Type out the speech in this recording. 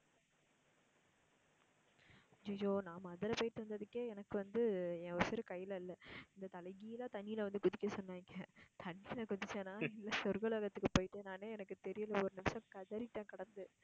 ஐயய்யோ நான் முதல்ல போயிட்டு வந்ததுக்கே எனக்கு வந்து என் உயிரு கையில இல்ல அந்த தலை கீழா தண்ணீல வந்து குதிக்க சொன்னாங்க தண்ணீல குதுச்சேனா இல்ல சொர்க லோகத்துக்கு போய்டேனான்னே எனக்கு தெரியல ஒரு நிமிஷம் கதறிட்டேன் கிடந்து